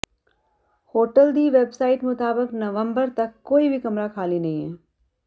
hotel ਦੀ website ਮੁਤਾਬਕ ਨਵੰਬਰ ਤੱਕ ਕੋਈ ਵੀ ਕਮਰਾ ਖਾਲ੍ਹੀ ਨਹੀਂ ਹੈ